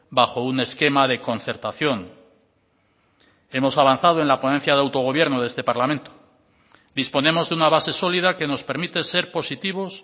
bajo un esquema de concertación hemos avanzado en la ponencia de autogobierno de este parlamento disponemos de una base sólida que nos permite ser positivos